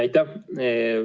Aitäh!